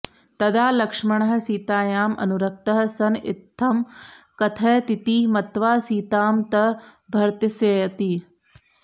तदा लक्ष्मणः सीतायाम् अनुरक्तः सन् इत्थं कथयतीति मत्वा सीता तं भर्त्सयति